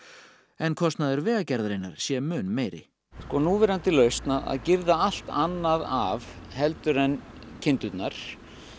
en kostnaður Vegagerðarinnar sé mun meiri núverandi lausn að girða allt annað af heldur en kindurnar